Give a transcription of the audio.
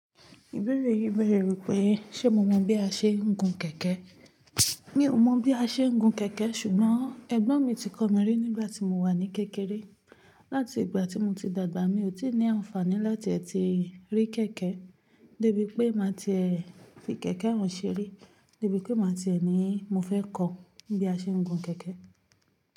Ìbéèrè yìí bẹ̀rẹ̀ wípé ṣe mo mọ bí a ṣe ń gun kẹ̀kẹ́? Mi ò mọ bí a ṣe ń gun kẹ̀kẹ́ ṣùgbọ́n ẹ̀gbọ́n mi ti kọ mi rí nígbà tí mo wà ní kékeré. Láti ìgbà tí mo ti dàgbà, mi ò tí ì ní àǹfààní láti ètí rí kẹ̀kẹ́, débi pé màá ti è fi kẹ̀kẹ́ hàn ṣe rí, débi pé màá ti è ní mo fẹ́ kọ bí a ṣe ń gun kẹ̀kẹ́